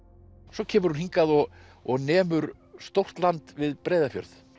svo kemur hún hingað og og nemur stórt land við Breiðafjörð